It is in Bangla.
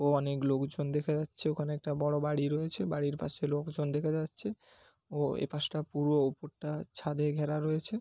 ও অনেক লোকজন দেখা যাচ্ছে। ওখানে একটা বড় বাড়ি রয়েছে বাড়ির পাশে লোকজন দেখা যাচ্ছে। ও এপাশ টা পুরো উপরটা ছাদে ঘেরা রয়েছে।